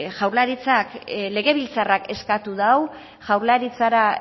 legebiltzarrak eskatu du